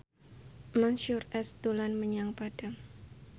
Mansyur S dolan menyang Padang